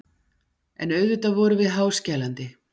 En auðvitað vorum við háskælandi.